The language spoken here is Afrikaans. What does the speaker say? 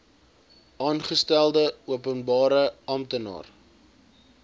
aangestelde openbare amptenaar